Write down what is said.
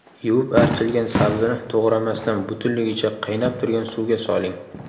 Yuvib archilgan sabzini to‘g‘ramasdan butunligicha qaynab turgan suvga soling.